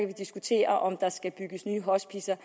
vi diskutere om der skal bygges nye hospicer